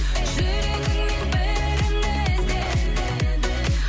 жүрегіңнен бірін ізде